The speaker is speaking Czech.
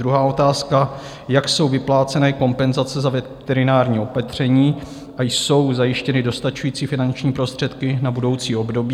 Druhá otázka: Jak jsou vypláceny kompenzace za veterinární opatření a jsou zajištěny dostačující finanční prostředky na budoucí období?